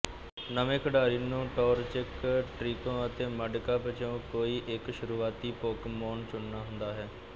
ਨਵੇਂ ਖਿਡਾਰੀ ਨੂੰ ਟੌਰਚਿਕ ਟ੍ਰੀਕੋ ਅਤੇ ਮੱਡਕਿਪ ਚੋਂ ਕੋਈ ਇੱਕ ਸ਼ੁਰੂਆਤੀ ਪੋਕੀਮੌਨ ਚੁਣਨਾ ਹੁੰਦਾ ਹੈ